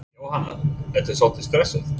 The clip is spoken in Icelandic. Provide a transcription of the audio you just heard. Jóhanna: Ertu svolítið stressuð?